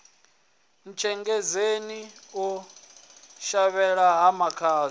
ntshengedzeni u shavhela ha makhadzi